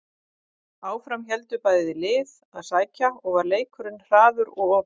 Áfram héldu bæði lið að sækja og var leikurinn hraður og opinn.